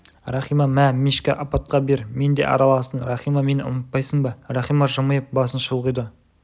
рахима мә мишка апатқа бер мен де араластым рахима мені ұмытпайсың ба рахима жымиып басын шұлғиды